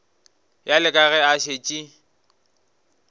bjale ka ge a šetše